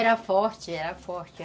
Era forte, era forte.